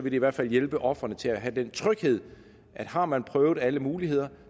i hvert fald hjælpe ofrene til at have den tryghed at har man prøvet alle muligheder